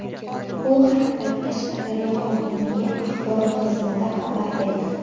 Bu haqda Qashqadaryo hokimligi axborot xizmati xabar berdi.